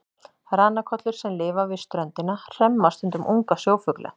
Ranakollur sem lifa við ströndina hremma stundum unga sjófugla.